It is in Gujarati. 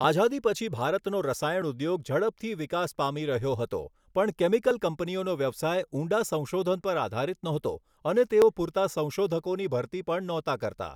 આઝાદી પછી ભારતનો રસાયણ ઉદ્યોગ ઝડપથી વિકાસ પામી રહ્યો હતો પણ કેમિકલ કંપનીઓનો વ્યવસાય ઊંડા સંશોધન પર આધારિત નહોતો અને તેઓ પૂરતા સંશોધકોની ભરતી પણ નહોતા કરતા.